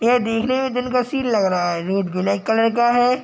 यह देखने में दिन का सिन लग रहा है | रोड ब्लैक कलर का है ।